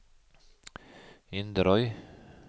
Inderøy